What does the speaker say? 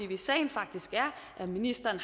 hvis sagen faktisk er at ministeren